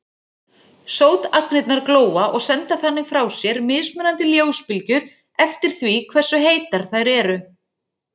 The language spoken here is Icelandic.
Sótagnirnar glóa og senda þannig frá sér mismunandi ljósbylgjur eftir því hversu heitar þær eru.